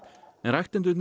en ræktendurnir